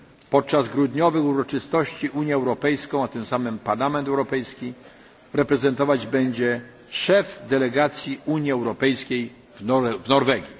Podczas grudniowych uroczystości Unię Europejską i tym samym Parlament Europejski reprezentować będzie szef delegacji Unii Europejskiej w Norwegii.